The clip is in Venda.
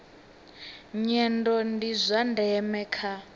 nyendo ndi zwa ndeme kha